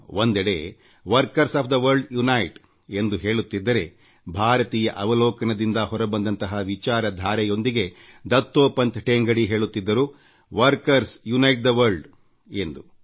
ಒಂದೆಡೆ workers of the world unite ಎಂದು ಹೇಳುತ್ತಿದ್ದರೆಭಾರತೀಯ ಅವಲೋಕನದಿಂದ ಹೊರಬಂದಂತಹ ವಿಚಾರಧಾರೆಯೊಂದಿಗೆ ದತ್ತೋಪಂತ್ ಠೇಂಗಡಿ ಹೇಳುತ್ತಿದ್ದರು ವರ್ಕರ್ಸ್ ಯುನೈಟ್ ಥೆ ವರ್ಲ್ಡ್ ಎಂದು